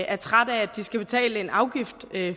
er trætte af at de skal betale en afgift